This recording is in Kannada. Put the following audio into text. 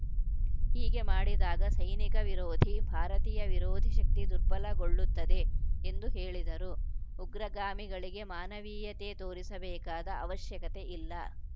ಹೀಗೆ ಮಾಡಿದಾಗ ಸೈನಿಕ ವಿರೋಧಿ ಭಾರತೀಯ ವಿರೋಧಿ ಶಕ್ತಿ ದುರ್ಬಲಗೊಳ್ಳುತ್ತದೆ ಎಂದು ಹೇಳಿದರು ಉಗ್ರಗಾಮಿಗಳಿಗೆ ಮಾನವೀಯತೆ ತೋರಿಸಬೇಕಾದ ಅವಶ್ಯಕತೆ ಇಲ್ಲ